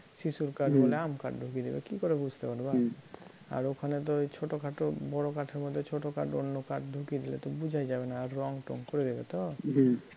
বা শিশুর কাঠ বলে আম কাঠ ঢুকিয়ে দেবে, কী করে বুঝতে পারবা? আর ওখানে তো ওই ছোটোখাটো বড় কাঠের মধ্যে ছোটো কাঠ অন্য কাঠ ঢুকিয়ে দিলে তো বুঝাই যাবে না আর রঙ টঙ করে দিলে তো!